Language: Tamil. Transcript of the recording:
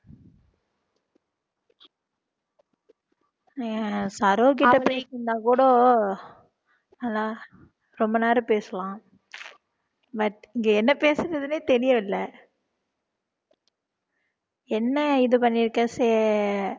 சரோகிட்ட பேசிட்டிருந்தாக்கூட ரொம்ப நேரம் பேசலாம் but இங்க என்ன பேசுறதுன்னே தெரியவில்லை என்ன இது பண்ணியிருக்கே